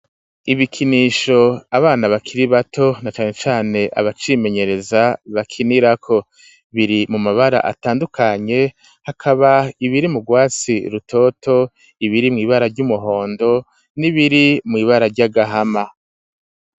Ibikinisho abana bakiri bato, na cane cane abacimenyereza bakinirako, biri mu mabara atandukanye, hakaba ibiri mu rwatsi rutoto, ibiri mw'ibara ry'umuhondo, n'ibiri mw'ibara ry'agahama.